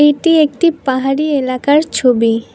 এটি একটি পাহাড়ি এলাকার ছবি।